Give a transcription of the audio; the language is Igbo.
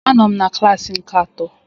Anọ m na klassi nke atọ